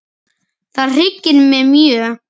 Það hryggir mig mjög.